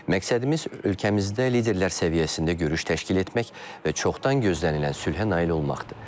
Məqsədimiz ölkəmizdə liderlər səviyyəsində görüş təşkil etmək və çoxdan gözlənilən sülhə nail olmaqdır.